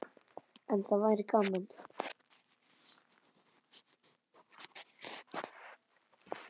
En það væri gaman.